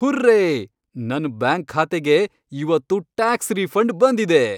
Hurray! ನನ್ bank ಖಾತೆಗೆ ಇವತ್ತು ಟ್ಯಾಕ್ಸ್ ರೀಫಂಡ್ ಬಂದಿದೆ!